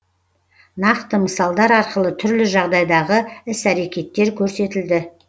нақты мысалдар арқылы түрлі жағдайдағы іс әрекеттер көрсетілді